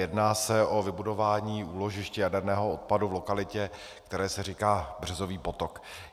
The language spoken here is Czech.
Jedná se o vybudování úložiště jaderného odpadu v lokalitě, které se říká Březový potok.